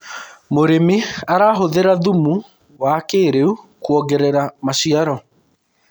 mũrĩmi arahuthira thumu wa kĩiriu kuongerera maciaro